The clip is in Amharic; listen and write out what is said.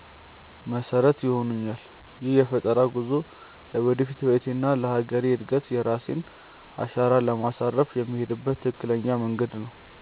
መሰረት ይሆኑኛል። ይህ የፈጠራ ጉዞ ለወደፊት ህይወቴና ለሀገሬ እድገት የራሴን አሻራ ለማሳረፍ የምሄድበት ትክክለኛ መንገድ ነው።